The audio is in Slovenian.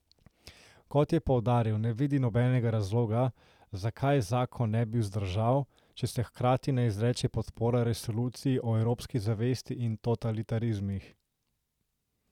Kot je poudaril, ne vidi nobenega razloga, zakaj zakon ne bi vzdržal, če se hkrati ne izreče podpora resoluciji o evropski zavesti in totalitarizmih.